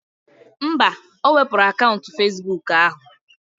Mba, o wepuru akaụntụ Fezbuk ahụ